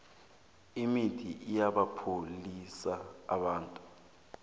imithi iyabapholisa abantu